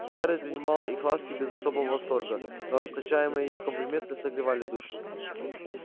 скарлетт принимала их ласки без особого восторга но расточаемые её комплименты согревали душу